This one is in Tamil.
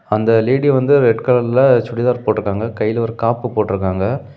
அந்த லேடி வந்து ரெட் கலர்ல சுடிதார் போட்ருக்காங்க கைல ஒரு காப்பு போட்ருக்காங்க.